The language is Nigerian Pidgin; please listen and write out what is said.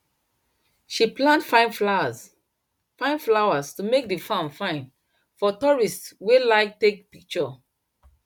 she plant fine flowers fine flowers to make the farm fine for tourists wey like take picture